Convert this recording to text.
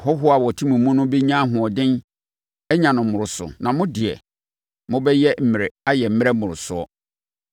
Ahɔhoɔ a wɔte mo mu no bɛnya ahoɔden anya no mmorosoɔ, na mo deɛ, mobɛyɛ mmerɛ ayɛ mmerɛ mmorosoɔ.